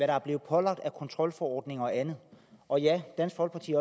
er blevet pålagt af kontrolforordninger og andet og ja dansk folkeparti